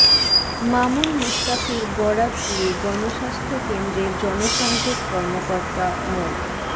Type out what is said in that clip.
মামুন মুস্তাফির বরাত দিয়ে গণস্বাস্থ্য কেন্দ্রের জনসংযোগ কর্মকর্তা মো